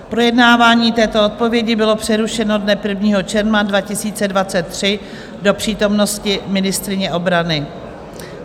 Projednávání této odpovědi bylo přerušeno dne 1. června 2023 do přítomnosti ministryně obrany.